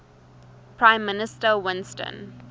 prime minister winston